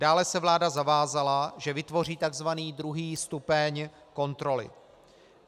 Dále se vláda zavázala, že vytvoří tzv. druhý stupeň kontroly.